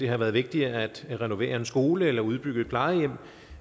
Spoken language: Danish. har været vigtigere at renovere en skole eller udbygge et plejehjem